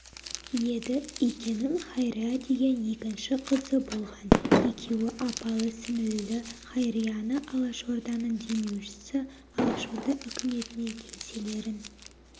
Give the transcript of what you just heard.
еді икенің хайрия деген екінші қызы болған екеуі апалы-сіңілілі хайрияны алашорданың демеушісі алашорда үкіметіне кеңселерін